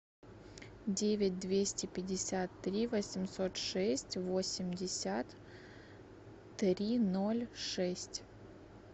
девять двести пятьдесят три восемьсот шесть восемьдесят три ноль шесть